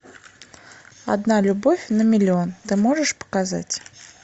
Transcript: одна любовь на миллион ты можешь показать